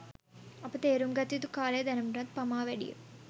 අප තේරුම් ගත යුතු කාලය දැනටමත් පමා වැඩිය.